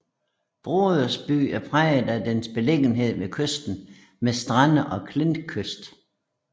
Brodersby er præget af dens beliggenhed ved kysten med strande og klintkyst